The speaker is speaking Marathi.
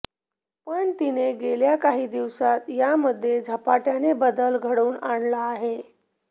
पण तिने गेल्या काही दिवसात यामध्ये झपाटय़ाने बदल घडवून आणला आहे